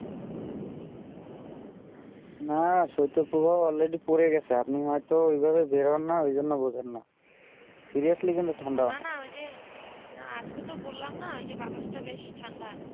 না স্বেত প্রভাব already পড়েগেছে সেই আপ্নে হয়ে তো এই ভাবে বের হয়ে না ওই জন্য বোঝেন না seriously কিন্তু ঠান্ডা ওই যে না আজকে তো বললাম না যে বাতাস তা বেশ ঠান্ডা